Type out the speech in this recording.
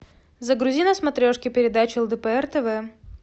загрузи на смотрешке передачу лдпр тв